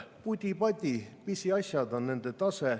Pudi-padi, pisiasjad on nende tase.